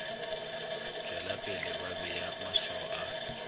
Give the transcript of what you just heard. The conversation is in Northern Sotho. tšwelapele ba bea maswao a